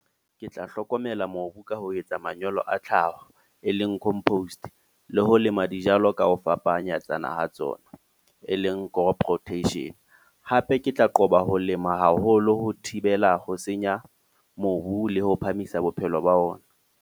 Ke tla hlokomela mobu ka ho etsa manyolo a tlhaho, e leng compost. Le ho lema dijalo ka ho fapanyetsana ha tsona, e leng crop rotation. Hape ke tla qoba ho lema haholo ho thibela ho senya mobu le ho phahamisa bophelo ba ona.